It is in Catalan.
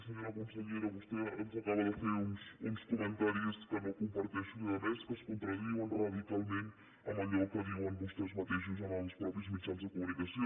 senyora consellera vostè ens acaba de fer uns comentaris que no comparteixo i a més que es contradiuen radicalment amb allò que diuen vostès mateixos en els mitjans de comunicació